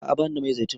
A'a bani da mai zaitun.